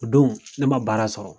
O don ne ma baara sɔrɔ